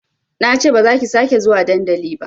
Nace bazaki sake zuwa dandali ba